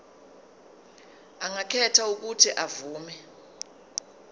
angakhetha uuthi avume